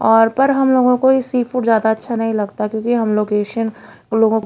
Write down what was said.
और पर हम लोगों को इसी सी फूड ज्यादा अच्छा नहीं लगता क्योंकि हम लोग एशियन लोगोंको--